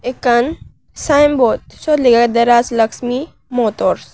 ekkan sign board siyot lega aage dye rajlaxmi motors.